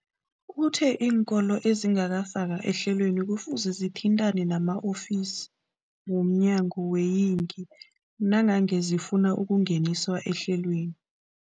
Uthe iinkolo ezingakafakwa ehlelweneli kufuze zithintane nama-ofisi wo mnyango weeyingi nangange zifuna ukungeniswa ehlelweni.